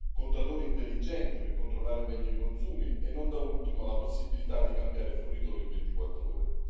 contatori intelligenti per controllare meglio i consumi e, non da ultimo, la possibilità di cambiare fornitore in 24 ore.